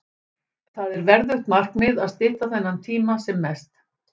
Það er verðugt markmið að stytta þennan tíma sem mest.